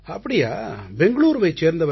அப்படியா பெங்களூரூவைச் சேர்ந்தவரா